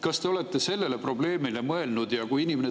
Kas te olete sellele probleemile mõelnud?